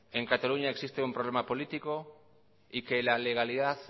que en cataluña existe un problema político y que la legalidad